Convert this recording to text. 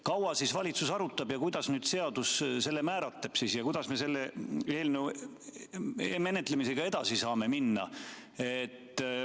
Kaua siis valitsus arutab ja kuidas seadus selle määratleb ja kuidas me selle eelnõu menetlemisega edasi saame minna?